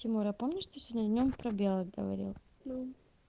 тимур а помнишь ты сегодня днём про белок говорил ну